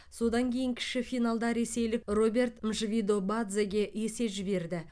содан кейін кіші финалда ресейлік роберт мшвидобадзеге есе жіберді